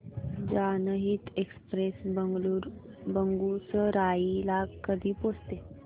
जनहित एक्सप्रेस बेगूसराई ला कधी पोहचते